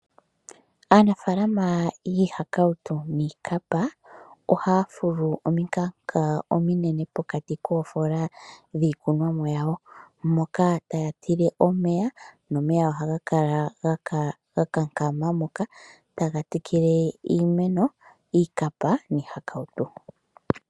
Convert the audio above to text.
Aanafaalama yiihakautu niikapa ohaya fulu omikanka ominene pokati koofoola dhiikunwa mo yawo, moka taya tile omeya nomeya ohaga kala ga kankama moka taga tekele iimeno, iikapa niihakautu.